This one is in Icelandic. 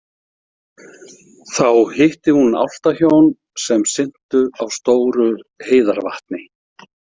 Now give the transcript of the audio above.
Þá hitti hún álftahjón sem syntu á stóru heiðarvatni.